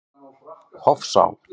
Hofsá